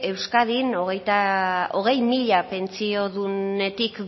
euskadin hogei mila pentsiodunetik